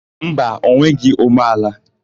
Mba, o nweghị umeala.